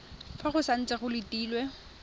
fa go santse go letilwe